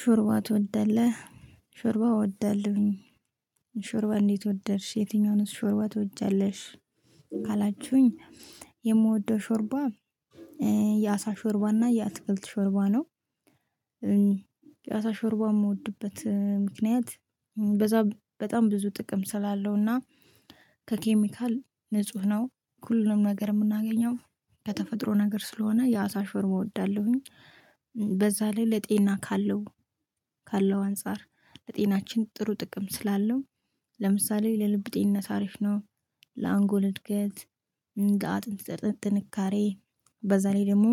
ሾርባ ትወዳለህ? ሾርባ እወዳለሁኝ። ሾርባ እንዴት ወደርሽ የትኛውንስ ሾርባ ትወጃለሽ? ካላችሁኝ የምወደው ሾርባ የአሳ ሾርባ እና የአትክልት ሾርባ ነው። የአሳ ሾርባ የምወድበት ምክንያት በዛ በጣም ብዙ ጥቅም ስላለው እና ከኬሚካል ንጹህ ነው ሁሉንም ነገር የምናገኘው ከተፈጥሮ ነገር ስለሆነ የአሳ ሾርባ እወዳለሁኝ። በዛ ላይ ለጤና ካለው አንፃር ለጤናችን ጥሩ ጥቅም ስላለው ለምሳሌ ለልብ ጤና ሳሪፍ ነው። ለአንጎል እድገት እንደ አጥንት ጥንካሬ በዛ ላይ ደግሞ